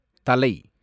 தலை